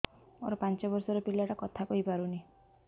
ମୋର ପାଞ୍ଚ ଵର୍ଷ ର ପିଲା ଟା କଥା କହି ପାରୁନି